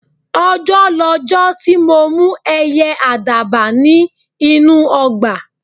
Ọjọ́ lọjọ́ ti mo mú ẹyẹ àdàbà ní inú ọgbà